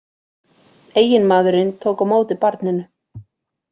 Eiginmaðurinn tók á móti barninu